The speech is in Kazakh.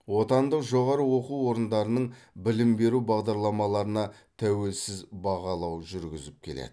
отандық жоғары оқу орындарының білім беру бағдарламаларына тәуелсіз бағалау жүргізіп келеді